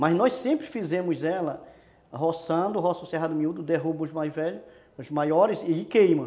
Mas nós sempre fizemos ela roçando, roça o cerrado miúdo, derruba os mais velhos, os maiores e queima.